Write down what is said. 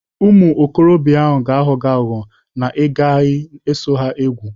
Ụmụ okorobịa ahụ ga-aghọ aghụghọ na ị gaghị eso ha egwu.